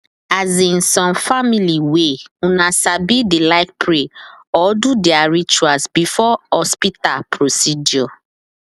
as insome family way una sabi dey like pray or do their rituals before hospital procedure